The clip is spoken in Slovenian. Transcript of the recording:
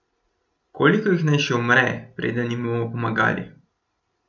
Koliko jih naj še umre, preden jim bomo pomagali?